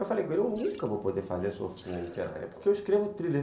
Eu falei com ele, eu nunca vou poder fazer essa oficina literária, porque eu escrevo thriller.